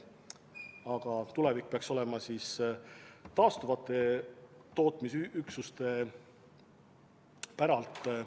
Aga tulevik peaks olema taastuvate tootmisressursside päralt.